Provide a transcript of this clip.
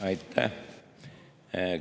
Aitäh!